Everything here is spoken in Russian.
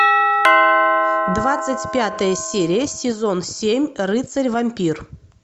двадцать пятая серия сезон семь рыцарь вампир